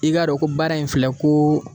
I k'a dɔn ko baara in filɛ ko